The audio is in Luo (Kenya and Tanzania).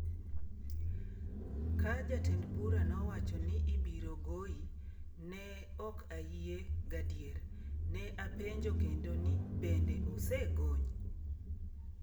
‘Ka jatend bura nowacho ni ibiro goyi, ne ok ayie gadier, ne apenjo kendo ni bende osegony?